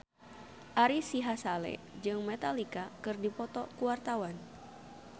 Ari Sihasale jeung Metallica keur dipoto ku wartawan